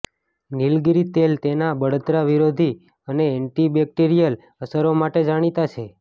નીલગિરી તેલ તેના બળતરા વિરોધી અને એન્ટીબેક્ટેરિયલ અસરો માટે જાણીતા છે